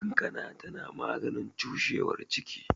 Kankana tana maganin cushewar ciki